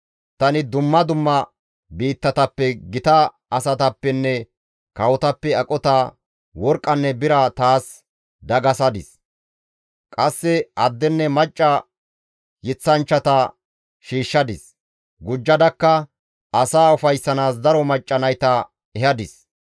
Tani dumma dumma biittatappe gita asatappenne kawotappe aqota, worqqanne bira taas dagasadis. Qasse addenne macca yeththanchchata shiishshadis; gujjadakka asaa ufayssanaas daro macca nayta ehadis.